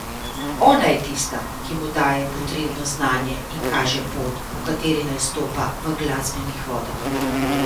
Ona je tista, ki mu daje potrebno znanje in kaže pot, po kateri naj stopa v glasbenih vodah.